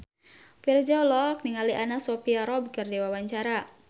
Virzha olohok ningali Anna Sophia Robb keur diwawancara